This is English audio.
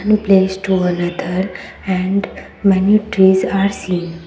one place to another and many trees are seen.